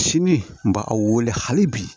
Sini n b'a a wele hali bi